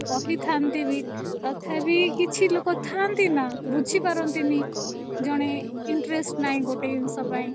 କହିଥାନ୍ତି ବି ତଥାପି କିଛି ଲୋକ ଥାନ୍ତି ନା ବୁଝିପାରନ୍ତିନି ମାନେ ଜଣେ interest ନାହିଁ ଗୋଟେ ଏଇ ଜିନିଷ ପାଇଁ